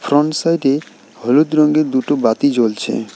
Front side -এ হলুদ রঙ্গের দুটো বাতি জ্বলছে।